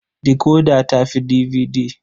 Decoder ta fi DVD.